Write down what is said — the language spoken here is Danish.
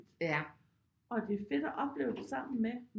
Og det er fedt at opleve det sammen med